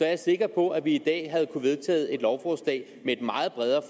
jeg sikker på at vi i dag kunne have vedtaget et lovforslag med et meget bredere